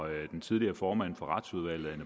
den tidligere formand for retsudvalget